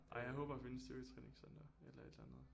Ej jeg håber at finde et styrketræningscenter eller et eller andet